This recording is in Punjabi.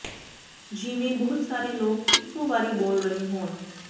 ਜਿਵੇਂ ਬਹੁਤ ਸਾਰੇ ਲੋਕ ਇਕੋ ਵਾਰੀ ਬੋਲ ਰਹੇ ਹੋਣ